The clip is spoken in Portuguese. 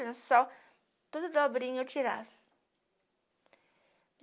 lençol, toda dobrinha eu tirava.